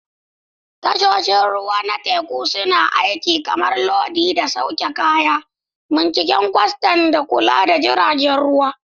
Tashoshin ruwa na teku suna aiki kamar lodi da sauke kaya, binciken kwastan, da kula da jiragen ruwa.